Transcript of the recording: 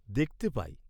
দেখতে পাই।